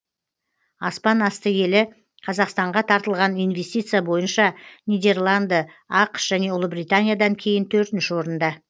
аспан асты елі қазақстанға тартылған инвестиция бойынша нидерланды ақш және ұлыбританиядан кейін төртінші орында